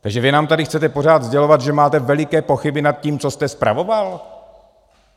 Takže vy nám tady chcete pořád sdělovat, že máte veliké pochyby nad tím, co jste spravoval?